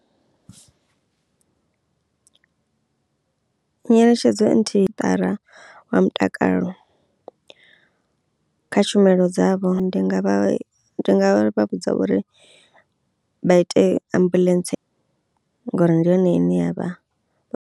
Nyeletshedzo nthihi wa mutakalo kha tshumelo dzavho ndi nga vha ndi nga vha vhudza uri vha ite ambuḽentse ngori ndi yone ine yavha.